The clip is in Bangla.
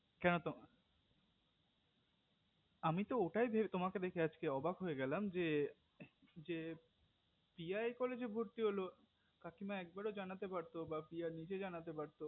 জানো তো আমি তো ওটাই ভেবে তোমাকে দেখে আজকে অবাক হয়ে গেলাম যে যে প্রিয়া এই college এ ভর্তি হলো কাকিমা একবারও জানাতে পারতো প্রিয়া নিজে জানাতে পারতো